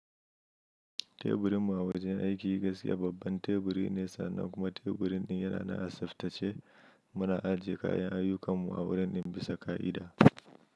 Teburinmu a wajen aiki gaskiya babban teburi ne sannan kuma teburin din yana nan a saftace. Muna ajiye kayan ayyukanmu a wurin din bisa ka'ida.